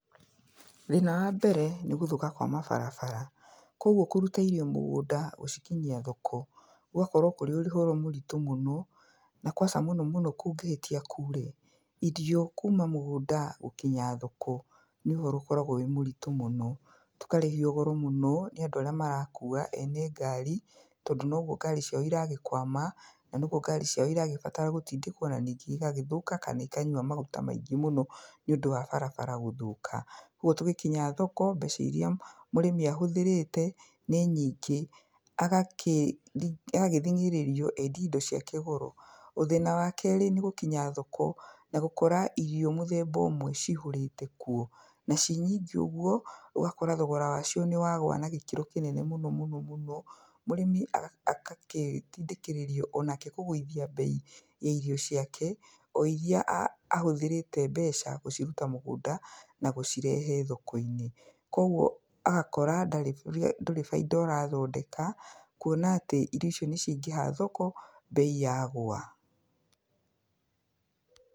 Thĩna wa mbere nĩ gũthũka kwa mabarabara. Koguo kũruta irio mũgũnda, gũcikinyia thoko, gũgakorwo kũrĩ ũhoro mũritũ mũno, na kwaca mũno mũno kũngĩhĩtia kuure, irio kuma mũgũnda gũkinya thoko, nĩ ũhoro ũkoragwo wĩ mũritũ mũno. Tũkarĩhio goro mũno, nĩ andũ arĩa marakuua ene ngari, tondũ noguo ngari ciao iragĩkwama, na noguo ngari ciao iragĩbatara gũtindĩkwo na ningĩ igagĩthũka kana ikanyua maguta maingĩ mũno nĩ ũndũ wa barabara gũthũka. Ũguo tũgĩkinya thoko, mbeca irĩa mũrĩmi ahũthĩrĩte, nĩ nyingĩ. Agagĩthing'ĩrĩrio endi indo ciake goro. Thĩna wa kerĩ nĩ gũkinya thoko na gũkora irio mũthemba ũmwe cihũrĩte kuo. Na ci nyingĩ ũguo, ũgakora thogora wa cio nĩ wagũa na gĩkĩro kĩnene mũno mũno mũno. Mũrĩmi akagĩtindĩkĩrĩrio onake kũgũithia mbei ya irio ciake, o irĩa ahũthĩrĩte mbeca gũciruta mũgũnda na gũcirehe thoko-inĩ. Kũguo agakora ndarĩ ndũri baida ũrathondeka, kuona atĩ irio icio nĩ ciaingĩha thoko, mbei yagũa.